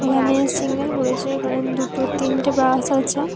ওখানে সিগন্যাল পরেছে। কারণ দুটো তিনটে বাস আছে ।